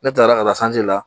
Ne taara ka taa la